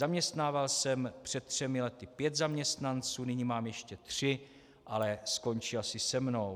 Zaměstnával jsem před třemi lety pět zaměstnanců, nyní mám ještě tři, ale skončí asi se mnou.